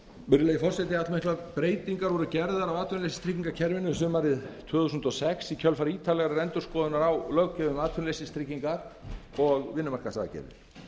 fyrirhugaðar breytingar allmiklar breytingar voru gerðar á atvinnuleysistryggingakerfinu sumarið tvö þúsund og sex í kjölfar ítarlegrar endurskoðunar á löggjöf um atvinnuleysistryggingar og vinnumarkaðsaðgerðir